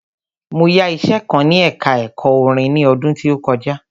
Mo yá iṣẹ kan ní ẹka ẹ̀kọ́ orin ni ọdún tí ó kọjá.